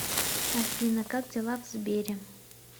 афина как дела в сбере